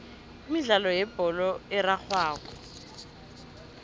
imidlalo yebholo erarhwako